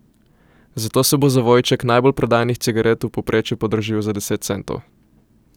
Zato se bo zavojček najbolj prodajanih cigaret v povprečju podražil za deset centov.